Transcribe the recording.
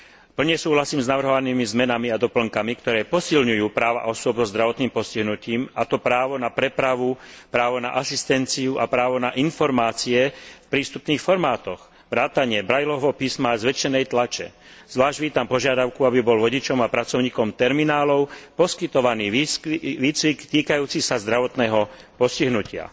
Plne súhlasím s navrhovanými zmenami a doplnkami, ktoré posilňujú práva osôb so zdravotným postihnutím, a to právo na prepravu, právo na asistenciu a právo na informácie v prístupných formátoch vrátane Braillovho písma a zväčšenej tlače. Zvlášť vítam požiadavku, aby bol vodičom a pracovníkom terminálov poskytovaný výcvik týkajúci sa zdravotného postihnutia.